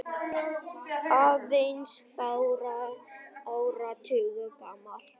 aðeins fárra áratuga gamalt.